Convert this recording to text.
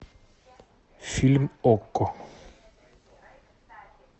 фильм окко